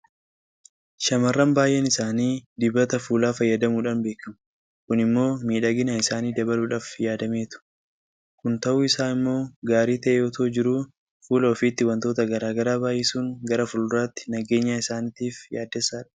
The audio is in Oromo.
Shaamarran baay'een isaanii dibata fuulaa fayyadamuudhaan beekamu. Kun immoo miidhagina isaanii dabaluudhaaf yaadameetu. Kun ta'uun isaa immoo gaarii ta'ee itoo jiruu fuula ofiitti waantota garaa garaa baay'isuun gara fuulduraatti nageenya isaaniiriif yaaddessaadha.